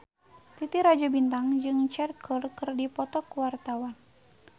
Titi Rajo Bintang jeung Cher keur dipoto ku wartawan